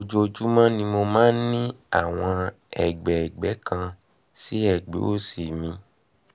ojoojúmọ́ ni mo máa ń ní àwọn ẹ̀gbẹ́ ẹ̀gbẹ́ ẹ̀gbẹ́ kan sí ẹ̀gbẹ́ òsì mi